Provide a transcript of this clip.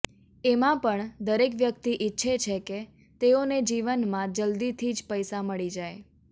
એમાં પણ દરેક વ્યક્તિ ઈચ્છે છે કે તેઓને જીવનમાં જલ્દીથી જ પૈસા મળી જાય